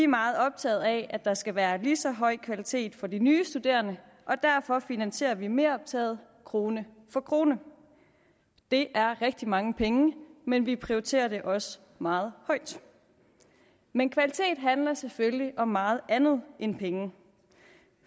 meget optaget af at der skal være lige så høj kvalitet for de nye studerende og derfor finansierer vi meroptaget krone for krone det er rigtig mange penge men vi prioriterer det også meget højt men kvalitet handler selvfølgelig om meget andet end penge